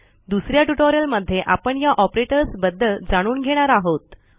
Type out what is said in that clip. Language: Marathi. दुस या ट्युटोरियलमध्ये आपण या ऑपरेटर्सबद्दल जाणून घेणार आहोत